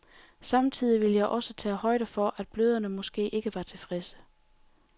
Samtidig ville jeg også tage højde for, at bløderne måske ikke var tilfredse.